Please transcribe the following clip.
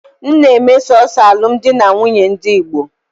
M na-eme sọọsọ alụmdi na nwunye ndị Igbo.